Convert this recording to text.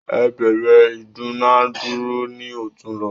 Ẹ bẹ̀rẹ ìdúnadúrà ni otunla